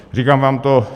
Říkám vám to.